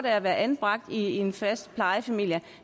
at være anbragt i en fast plejefamilie